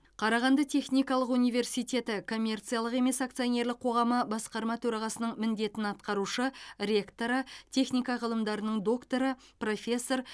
қарағанды техникалық университеті коммерциялық емес акционерлік қоғамы басқарма төрағасының міндетін атқарушы ректоры техника ғылымдарының докторы профессор